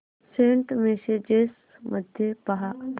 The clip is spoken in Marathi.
सेंट मेसेजेस मध्ये पहा